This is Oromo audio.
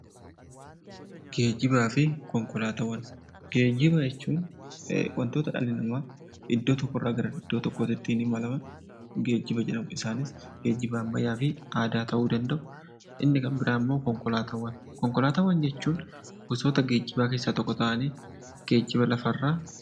Geejjibaa fi Konkolaataawwan Geejjiba jechuun wantoota dhalli namaa iddoo tokkorraa gara iddoo tokkootti ittiin imalan geejjiba jedhamu. Isaanis geejjiba ammayyaa fi aadaa ta'uu danda'u. Inni kan biraammoo konkolaataawwan. Konkolaataawwan jechuun gosoota geejjibaa keessaa tokko ta'anii geejjiba lafarraa....